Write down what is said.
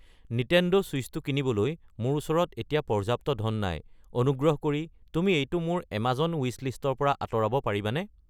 Nintendo ছুইচটো কিনিবলৈ মোৰ ওচৰত এতিয়া পৰ্যাপ্ত ধন নাই, অনুগ্ৰহ কৰি তুমি এইটো মোৰ এমাজন ৱিছলিষ্টৰ পৰা আঁতৰাব পাৰিবানে